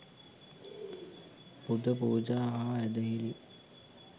පුද පූජා හා ඇදහිලි